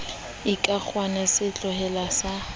ekakgona a se tlohellwe a